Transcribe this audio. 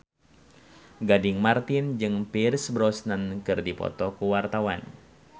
Gading Marten jeung Pierce Brosnan keur dipoto ku wartawan